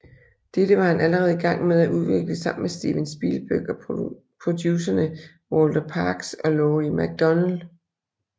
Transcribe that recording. Dette var han allerede i gang med at udvikle sammen med Steven Spielberg og producerne Walter Parkes og Laurie MacDonald